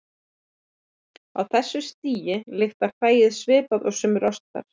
Á þessu stigi lyktar hræið svipað og sumir ostar.